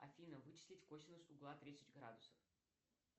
афина вычислить косинус угла тридцать градусов